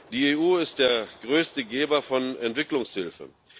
Die EU ist der größte Geber von Entwicklungshilfe.